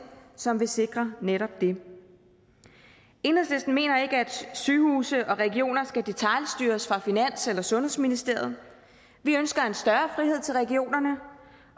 som vil sikre netop det enhedslisten mener ikke at sygehuse og regioner skal detailstyres fra finans eller sundhedsministeriet vi ønsker en større frihed til regionerne